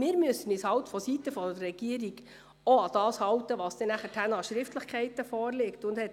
Ich fühle mich persönlich angesprochen, weil die Finanzdirektorin mich interpretiert hat.